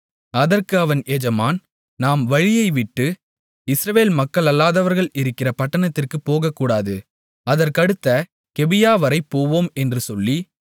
அதற்கு அவன் எஜமான் நாம் வழியைவிட்டு இஸ்ரவேல் மக்களல்லாதவர்கள் இருக்கிற பட்டணத்திற்குப் போகக்கூடாது அதற்கடுத்த கிபியாவரை போவோம் என்று சொல்லி